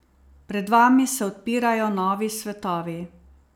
Pred vami se odpirajo novi svetovi.